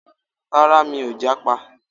Rárá, mi ò jápa